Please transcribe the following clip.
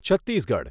Chhattisgarh